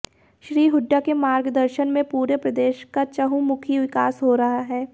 श्री हुड्डा के मार्गदर्शन में पूरे प्रदेश का चहुंमुखी विकास हो रहा है